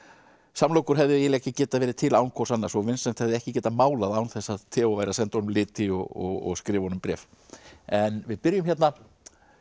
samlokur hefðu eiginlega ekki getað verið til án hvors annars og Vincent hefði ekki getað málað án þess að Theo væri að senda honum liti og skrifa honum bréf en við byrjum hérna